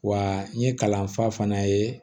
Wa n ye kalanfa fana ye